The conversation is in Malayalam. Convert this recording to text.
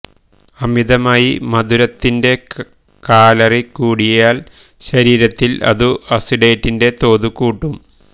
അമിതമായി മധുരത്തിന്റെ കാലറി കൂടിയില് ശരീരത്തില് അതു അസിറ്റേറ്റിന്റെ തോതു കൂട്ടും